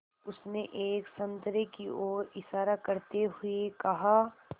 उसने एक संतरे की ओर इशारा करते हुए कहा